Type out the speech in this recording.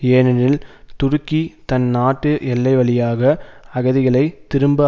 ஏனெனில் துருக்கி தன் நாட்டு எல்லை வழியாக அகதிகள் திரும்ப